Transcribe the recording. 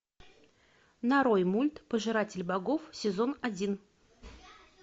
нарой мульт пожиратель богов сезон один